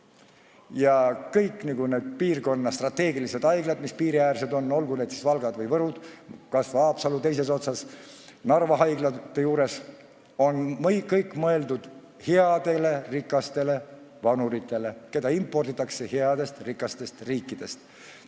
Ja kõik need piirkonna strateegilised haiglad, mis on piiriäärsed, olgu Valga või Võru, kas või Haapsalu teises otsas ja Narva, on mõeldud headele rikastele vanuritele, keda imporditakse headest rikastest riikidest.